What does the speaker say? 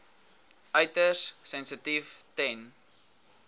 uiters sensitief ten